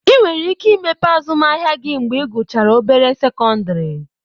ị nwere ike imepe azụmahịa gị mgbe I guchara obere sekọndịrị